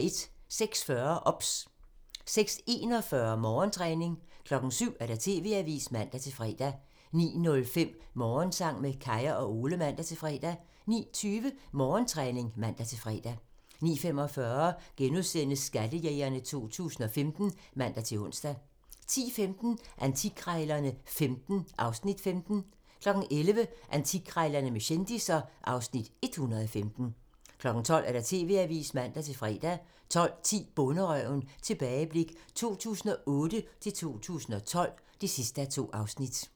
06:40: OBS (man) 06:41: Morgentræning (man) 07:00: TV-avisen (man-fre) 09:05: Morgensang med Kaya og Ole (man-fre) 09:20: Morgentræning (man-fre) 09:45: Skattejægerne 2015 *(man-ons) 10:15: Antikkrejlerne XV (Afs. 15) 11:00: Antikkrejlerne med kendisser (Afs. 115) 12:00: TV-avisen (man-fre) 12:10: Bonderøven - tilbageblik 2008-2012 (2:2)